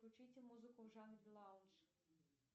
включите музыку в жанре лаунж